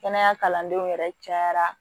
Kɛnɛya kalandenw yɛrɛ cayara